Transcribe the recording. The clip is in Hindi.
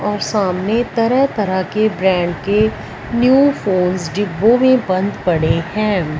और सामने तरह तरह के ब्रांड के न्यू फोंस डिब्बों में बंद पड़े हैं।